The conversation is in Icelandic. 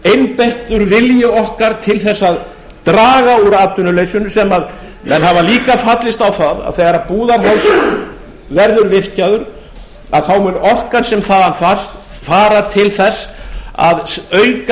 einbeittur vilji okkar til þess að draga úr atvinnuleysinu sem menn hafa líka fallist á það að þegar búðarháls verður virkjaður að þá mun orkan sem þaðan fæst fara til þess að auka